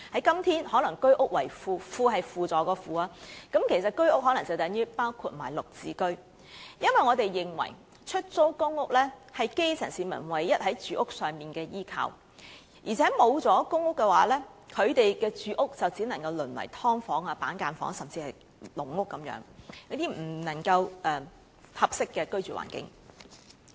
今天可能是居屋為輔，"輔"是輔助的"輔"，其實居屋可能包括"綠置居"，因為我們認為，出租公屋是基層市民在住屋上的唯一依靠，而且若沒有公屋，他們的住屋就只能淪為"劏房"、板間房，甚至"籠屋"等，這些均不是合適的居住環境。